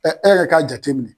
e yɛrɛ k'a jate mininɛ.